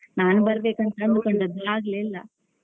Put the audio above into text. ನಾನ್ ಬರ್ಬೇಕು ಅಂತ ಅಂದುಕೊಂಡದ್ದು ಆಗ್ಲೇ ಇಲ್ಲ.